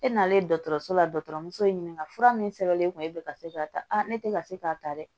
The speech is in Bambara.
E nanen dɔgɔtɔrɔso la dɔgɔtɔrɔ muso ye ɲininka fura min sɛbɛnlen kun ye e bɛ ka se k'a ta ne tɛ ka se k'a ta dɛ